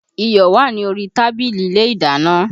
Iyọ̀ wà ní orí tábìlì ilé ìdáná